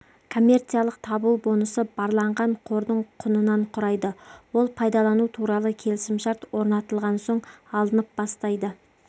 коммерциялық табу бонусы барланған қордың құнынан құрайды ол пайдалану туралы келісімшарт орнатылған соң алынып бастайды